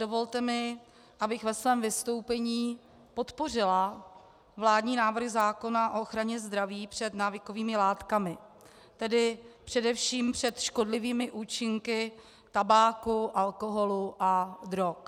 Dovolte mi, abych ve svém vystoupení podpořila vládní návrh zákona o ochraně zdraví před návykovými látkami, tedy především před škodlivými účinky tabáku, alkoholu a drog.